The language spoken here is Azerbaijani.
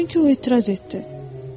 Çünki o etiraz etdi.